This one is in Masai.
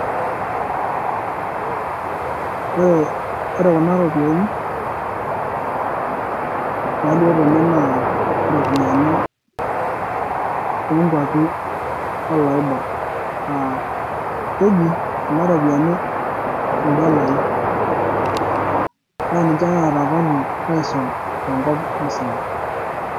ore ore kuna ropiani, naalio tena naa ropiani oo nkuapi o loibor, aah keji kuna ropiani in'dolai naa ninche naata value aisul tenkop musima.